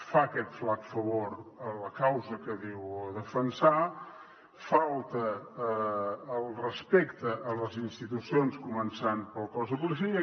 fa aquest flac favor a la causa que diu defensar falta al respecte a les institucions començant pel cos de policia